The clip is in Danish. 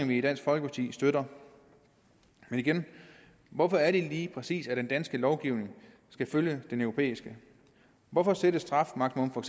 vi i dansk folkeparti støtter men igen hvorfor er det lige præcis at den danske lovgivning skal følge den europæiske hvorfor sættes strafmaksimum for